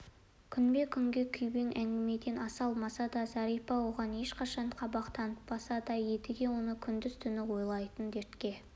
күнбе-күнгі күйбің әңгімеден аса алмаса да зәрипа оған ешқашан қабақ танытпаса да едіге оны күндіз түні ойлайтын дертке